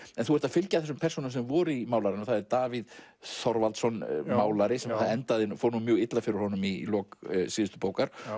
en þú ert að fylgja þessum persónum sem voru í málaranum það er Davíð Þorvaldsson málari það fór nú mjög illa fyrir honum í lok síðustu bókar